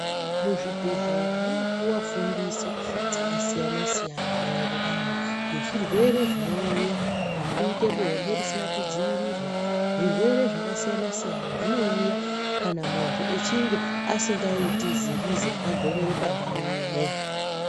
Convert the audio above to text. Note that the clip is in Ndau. Muzvibhedhlera munopiwa fundiso dzakasiyana siyana maererano nezvirwere zvinouya nekuita bonde risina kudziwirirwa zvirwere zvakasiyana siyana zvinouya kana muntu achinge asingaite zingizi rakagonyera pandau imwe.